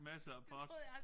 Masser af pot